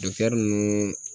ninnu